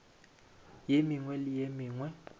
ye mengwe le ye mengwe